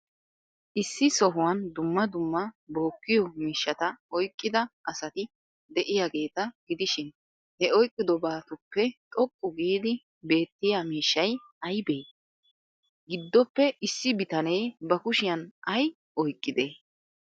Issi sohuwan dumma dumma bookkiyoo miishshata oyqqida asati de'iyaageeta gidishin, he oyqqidobatuppe xoqqu giidi beettiya miishshay aybee? giddoppe issi bitanee bakushiyaan ay oyqqidee?